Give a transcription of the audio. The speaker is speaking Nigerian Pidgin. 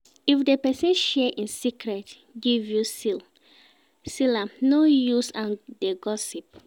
If di persin share in secret give you seal am no use am de gossip